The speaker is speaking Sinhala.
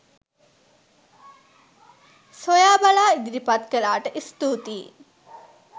සොයා බලා ඉදිරිපත් කළාට ස්තුතියි